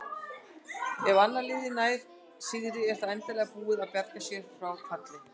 Ef annað liðið nær sigri er það endanlega búið að bjarga sér frá falli.